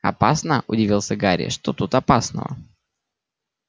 опасно удивился гарри что тут опасного